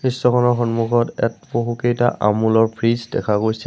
দৃশ্যখনৰ সন্মুখত য়াত বহুকেইটা আমূল ৰ ফ্ৰিজ দেখা গৈছে।